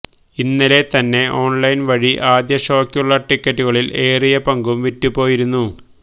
ഇന്നലെ തന്നെ ഓണ്ലൈന് വഴി ആദ്യ ഷോയ്ക്കുള്ള ടിക്കറ്റുകളില് ഏറിയ പങ്കുംവിറ്റുപോയിരുന്നു